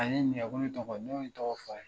A ye ne ɲininka ko ne tɔgɔ ne tɔgɔ f'a ye.